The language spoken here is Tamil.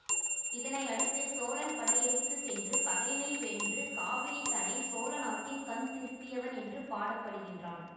இதனை அடுத்து சோழன் படை எடுத்து சென்று பகைமை வென்று காவிரி தனை சோழ நாட்டின் கண் திருப்பியவன் என்று பாட படுகின்றான்